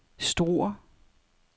Struer